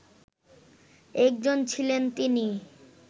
একজন ছিলেন তিনি